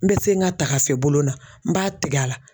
N bɛ se n ka tagafe bolo la n b'a tigɛ a la.